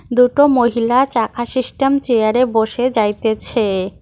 দুটো মহিলা চাকা সিস্টেম চেয়ারে বসে যাইতেছে।